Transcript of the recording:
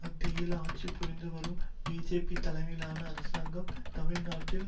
மத்தியில் ஆட்சி புரிந்து வரும் பிஜேபி தலைமையிலான அரசாங்கம் தமிழ் நாட்டில்